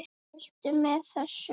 Hvað viltu með þessu?